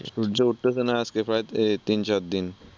সূর্য উঠতেসে না আজকে প্রায় তিন চার দিন।